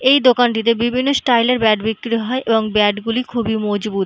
এই দোকানটিতে বিভিন্ন স্টাইল - এর ব্যাট বিক্রি হয় এবং ব্যাট গুলি খুবই মজবুত ।